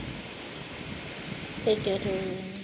ugedorlawomere